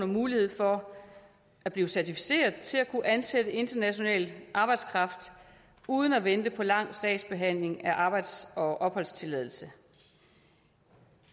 mulighed for at blive certificeret til at kunne ansætte international arbejdskraft uden at vente på en lang sagsbehandling af arbejds og opholdstilladelse